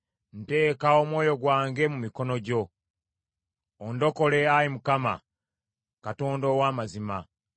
Nteeka omwoyo gwange mu mikono gyo; ondokole, Ayi Mukama , Katonda ow’amazima.